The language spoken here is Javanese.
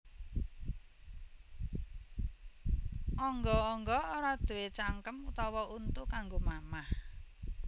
Angga angga ora duwé cangkem utawa untu kanggo mamah